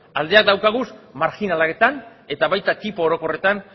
aldeak dauzkagu marjinaletan eta baita tipo orokorretan